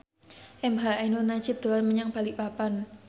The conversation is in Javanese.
emha ainun nadjib dolan menyang Balikpapan